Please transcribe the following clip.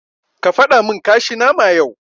Ka fadamin kashi nama yau.